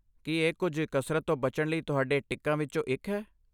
ਕੀ ਇਹ ਕੁਝ ਕਸਰਤ ਤੋਂ ਬਚਣ ਲਈ ਤੁਹਾਡੇ ਟਿੱਕਾਂ ਵਿੱਚੋਂ ਇੱਕ ਹੈ?